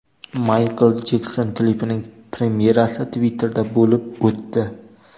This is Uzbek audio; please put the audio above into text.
Maykl Jekson klipining premyerasi Twitter’da bo‘lib o‘tdi.